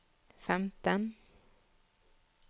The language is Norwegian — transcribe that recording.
femten